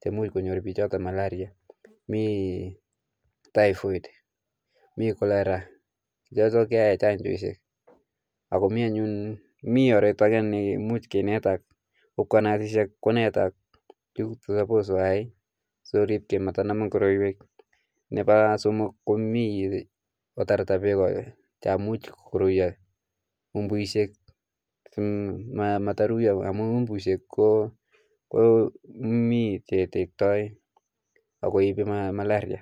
korotwek cheu malaria typhoid cholera akomi oratunwek alak chemuch konetak nurses simanamak korotwek ako sapos ketarta peko chemuch koruyo mbu amun ipu malaria.